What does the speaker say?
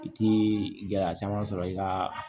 I ti gɛlɛya caman sɔrɔ i kaa